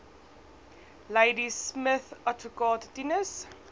ladismith adv tinus